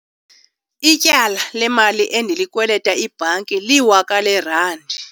Ityala lemali endilikwelita ibhanki liwaka leerandi.